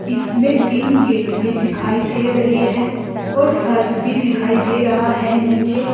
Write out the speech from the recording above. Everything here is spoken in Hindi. इसमें तीन गेट भी दिखाई दे रहे हैं और फर्श भी दिखाई दे रहा है नीचे।